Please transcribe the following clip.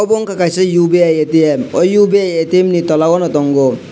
abo ungkha kaisa ubi atm o ubi atm ni tolao no tongo.